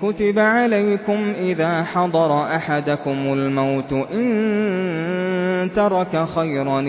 كُتِبَ عَلَيْكُمْ إِذَا حَضَرَ أَحَدَكُمُ الْمَوْتُ إِن تَرَكَ خَيْرًا